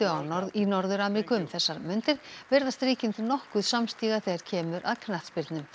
í Norður Ameríku um þessar mundir virðast ríkin nokkuð þegar kemur knattspyrnu